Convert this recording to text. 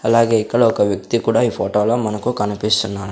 అలాగే ఇక్కడ ఒక వ్యక్తి కూడా ఈ ఫోటో లో మనకు కనిపిస్తున్నా--